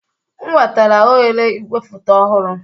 M wetara oghere igwefoto ọhụrụ